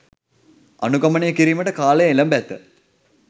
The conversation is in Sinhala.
අනුගමනය කිරීමට කාලය එළැඹ ඇත